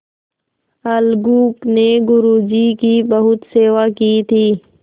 अलगू ने गुरु जी की बहुत सेवा की थी